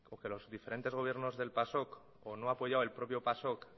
porque los diferentes gobiernos del pasok o no ha apoyado el propio pasok